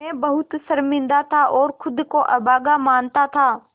मैं बहुत शर्मिंदा था और ख़ुद को अभागा मानता था